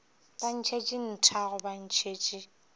ba ntšhetše nthago ba ntšhetše